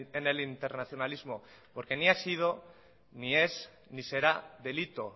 en el internacionalismo porque ni ha sido ni es ni será delito